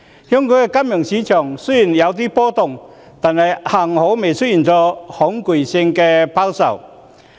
香港的金融市場雖然有點波動，幸好沒有出現恐懼性拋售。